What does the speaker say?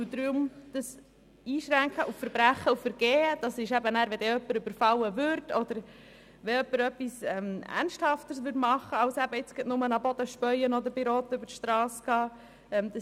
Deswegen schränken wir die Auswertung auf Verbrechen und Vergehen ein, etwa wenn jemand überfallen wird oder etwas Ernsthafteres vorliegt, als wenn jemand nur auf den Boden spuckt oder bei Rot über die Strasse geht.